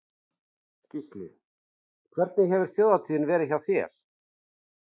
Gísli: En hvernig hefur þjóðhátíðin verið hjá þér?